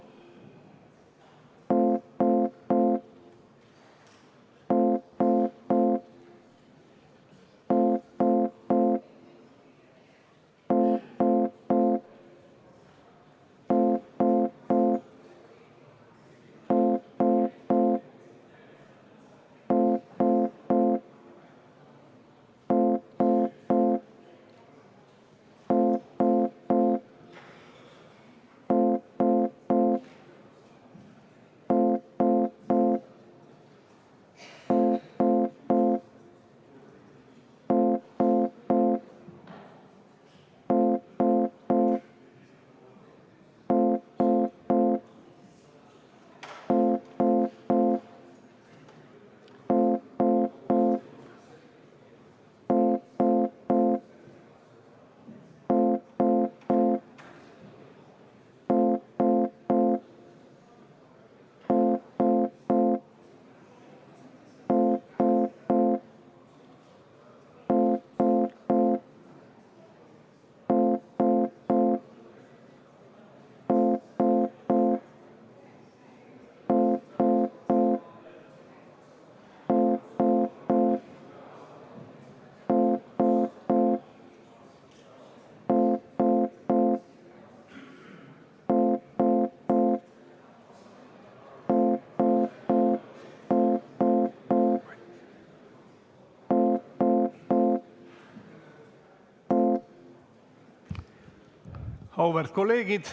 Auväärt kolleegid!